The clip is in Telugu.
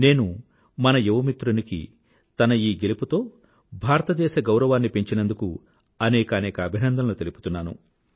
నేను మన యువ మిత్రునికి తన ఈ గెలుపుకి భారతదేశ గౌరవాన్ని పెంచినందుకూ అనేకానేక అభినందనలు తెలుపుతున్నాను